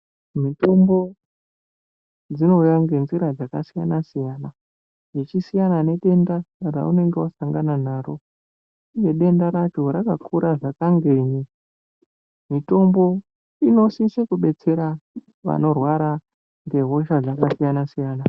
Mitombo dzinouya ngenzira dzakasiyana siyana ichisiyana nedenda raunenge wasangana naro uye denda racho rakakura zvakangei mutombo inosisa kudetsera vanorwara ngehosha dzakasiyana siyana.